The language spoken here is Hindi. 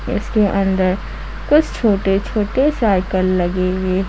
कुछ छोटे छोटे साइकिल लगेंगे।